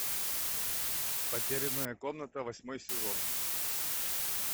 потерянная комната восьмой сезон